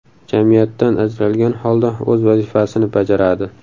Jamiyatdan ajralgan holda o‘z vazifasini bajaradi.